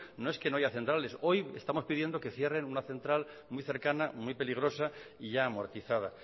no es que no hay centrales hoy estamos pidiendo que cierren una central muy cercana muy peligrosa y ya amortizada